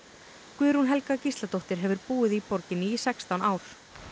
Guðrún Helga Gísladóttir hefur búið í borginni í sextán ár